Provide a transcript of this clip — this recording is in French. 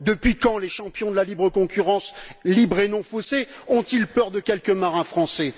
Depuis quand les champions de la concurrence libre et non faussée ont ils peur de quelques marins français?